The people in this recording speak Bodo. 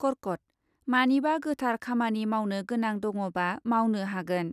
कर्कट , मानिबा गोथार खामानि मावनो गोनां दङ'बा मावनो हागोन ।